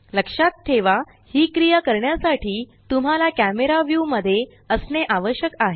लक्षात ठेवा ही क्रिया करण्यासाठी तुम्हाला कॅमरा व्यू मध्ये असणे आवश्यक आहे